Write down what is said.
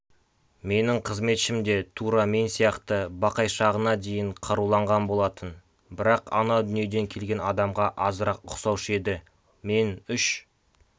менің қызметшім де тура мен сияқты бақайшағына дейін қаруланған болатын бірақ ана дүниеден келген адамға азырақ ұқсаушы еді мен үш